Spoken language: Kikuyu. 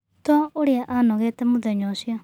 Tũ ũrĩa anogete mũthenya ũcio.